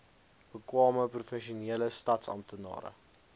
bekwame professionele staatsamptenare